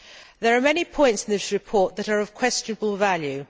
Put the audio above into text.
There are many points in this report that are of questionable value.